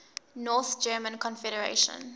north german confederation